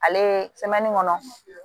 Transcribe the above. Ale ye kɔnɔ